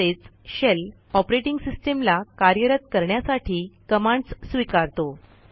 तसेच shell operating सिस्टीमला कार्यरत करण्यासाठी कमांडस् स्वीकारतो